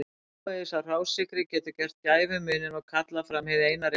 Smávegis af hrásykri getur gert gæfumuninn og kallað fram hið eina rétta bragð.